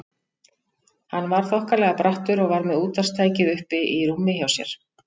Hann var þokkalega brattur og var með útvarpstækið uppi í rúminu hjá sér.